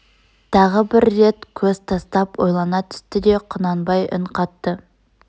тағы бір рет көз тастап ойлана түсті де құнанбай үн қатты